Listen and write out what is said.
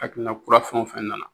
Hakilina kura fɛn o fɛn nana